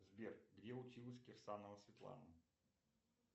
сбер где училась кирсанова светлана